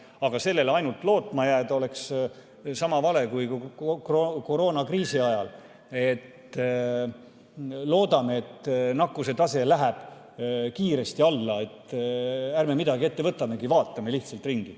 Aga ainult sellele lootma jääda oleks sama vale kui koroonakriisi ajal loota, et nakkuse tase läheb kiiresti alla, ärme midagi ette võtamegi, vaatame lihtsalt ringi.